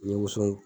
N ye woson bɔ